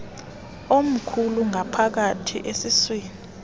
omkhulu ngaphakathi esiswini